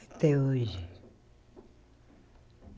Até hoje.